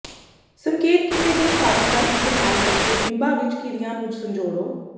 ਸੰਕੇਤ ਕੀਤੇ ਗਏ ਫਾਰਮ ਦਾ ਇਸਤੇਮਾਲ ਕਰਕੇ ਬਿੰਬਾਂ ਵਿੱਚ ਕਿਰਿਆ ਨੂੰ ਸੰਜੋੜੋ